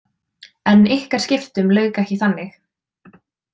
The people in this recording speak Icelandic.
En ykkar skiptum lauk ekki þannig?